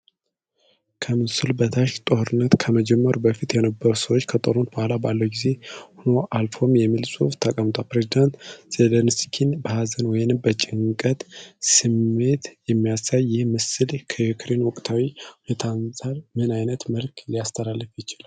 ከምስሉ በታች "ጦርነት ከመጀመሩ በፊት የነበሩ ሰዎች ከጦርነቱ በኋላ ባለው ጊዜም ሆኑ አልኖሩም" የሚል ጽሑፍ ተቀምጧል። ፕሬዝዳንት ዜለንስኪን በሀዘን ወይም በጭንቀት ስሜት የሚያሳየው ይህ ምስል ከዩክሬን ወቅታዊ ሁኔታ አንፃር ምን ዓይነት መልዕክት ሊያስተላልፍ ይችላል?